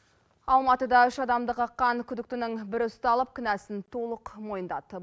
алматыда үш адамды қаққан күдіктінің бірі ұсталып кінәсін толық мойындады